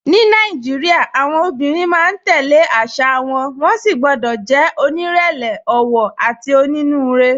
Ní Nàìjíríà, àwọn obìnrin máa ń tẹ̀ lé àṣà wọn, wọ́n sì gbọ́dọ̀ jẹ́ onírẹ̀lẹ̀, ọ̀wọ̀, àti onínúure.